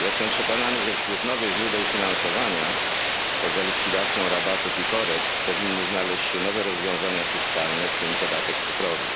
Jestem przekonany, że wśród nowych źródeł finansowania poza likwidacją rabatów i korekt powinny znaleźć się nowe rozwiązania fiskalne, w tym podatek cyfrowy.